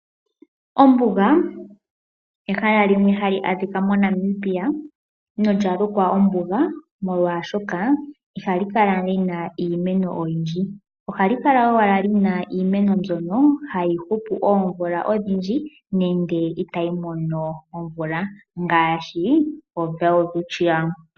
Ombuga ehala limwe hali adhika moNamibia, nolya lukwa ombuga molwaashoka ihali kala lyina iimeno yindji. Ohali kala ashike lyi na iimeno mbyoka hayi hupu oomvula odhindji nenge itayi mono omvula, ngaashi oWelwitchia.